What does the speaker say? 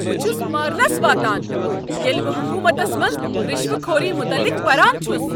بہ چھُس مارنس واتان ییٚلہِ بہٕ حكوٗمتس منٛز رشوٕ خوٗری متعلق پران چھُس۔